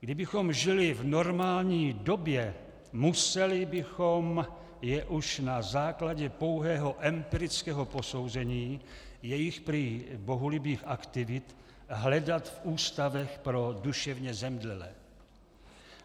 Kdybychom žili v normální době, museli bychom je už na základě pouhého empirického posouzení jejich prý bohulibých aktivit hledat v ústavech pro duševně zemdlelé.